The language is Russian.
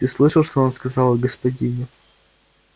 ты слышал что он сказал о господине